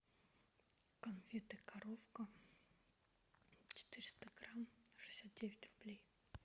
конфеты коровка четыреста грамм шестьдесят девять рублей